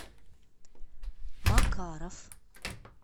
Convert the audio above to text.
макаров